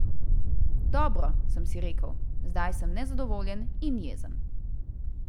Dobro, sem si rekel, zdaj sem nezadovoljen in jezen.